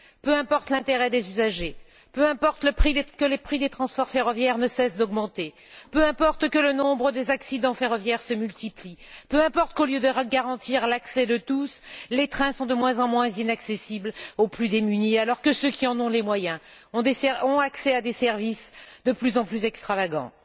Peu importe l'intérêt des usagers, peu importe que les prix des transports ferroviaires ne cessent d'augmenter, peu importe que le nombre des accidents ferroviaires se multiplie, peu importe qu'au lieu de garantir l'accès de tous, les trains sont de moins en moins accessibles aux plus démunis alors que ceux qui en ont les moyens ont accès à des services de plus en plus extravagants.